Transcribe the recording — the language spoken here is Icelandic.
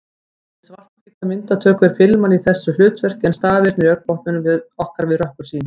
Við svarthvíta myndatöku er filman í þessu hlutverki en stafirnir í augnbotnum okkar við rökkursýn.